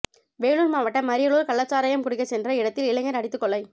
வேலூர் மாவட்டம் அரியூரில் கள்ளச்சாராயம் குடிக்கச் சென்ற இடத்தில் இளைஞர் அடித்துக் கொலை